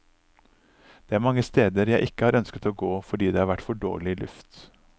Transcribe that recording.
Det er mange steder jeg ikke har ønsket å gå fordi det har vært for dårlig luft.